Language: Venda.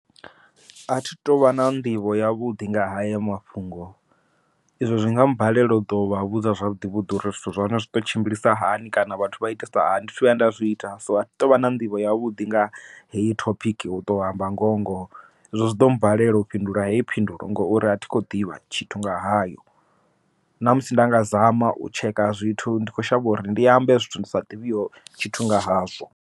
Athi tu vha na nḓivho yavhuḓi nga haya mafhungo, izwo zwinga balela uḓo vha vhudza zwavhuḓi vhuḓi uri zwithu zwa hone zwi to tshimbilisa hani kana vhathu vha itisa hani thi thu vhuya nda zwi ita, so athi tu vha na nḓivho yavhuḓi nga heyo thopiki u to amba ngoho ngoho, ezwo zwi ḓo mmbalela u fhindula heyi phindulo ngori a thi khou ḓivha tshithu nga hayo, ṋamusi nda nga zama u tsheka zwithu ndi kho shavha uri ndi ambe zwithu ndi sa ḓivhiho tshithu nga hazwo.